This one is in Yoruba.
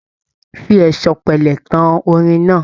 Fi ẹ̀sọ̀ pẹlẹ tán orin náà.